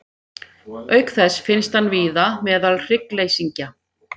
Auk þess finnst hann víða meðal hryggleysingja.